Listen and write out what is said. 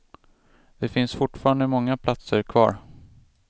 Det finns fortfarande många platser kvar.